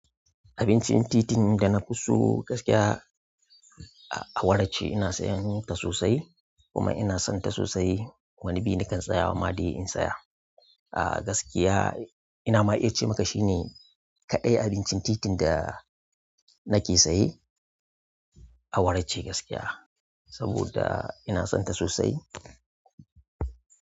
Abincin titin da na fi so gaskiya awara ce. Ina siyan sossai kuma ina sonta sossai wani bi nakan tsayawa dai in tsaya. Ah gaskiya ina ma iya ce maka shine kaɗai abincin titin da nake saye awara ce gaskiya. Saboda ina son ta sosai.